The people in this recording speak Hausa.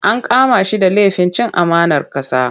An kama shi da lafin cin amanar ƙasa.